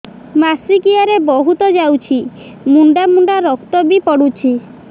ମାସିକିଆ ରେ ବହୁତ ଯାଉଛି ମୁଣ୍ଡା ମୁଣ୍ଡା ରକ୍ତ ବି ପଡୁଛି